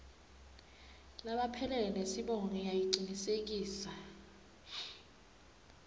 laphelele nesibongo ngiyacinisekisa